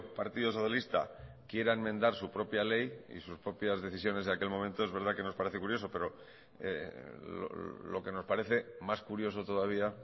partido socialista quiera enmendar su propia ley y sus propias decisiones de aquel momento es verdad que nos parece curioso pero lo que nos parece más curioso todavía